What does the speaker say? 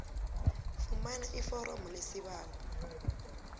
fumana iforomo lesibawo